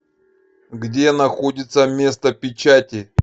где находится место печати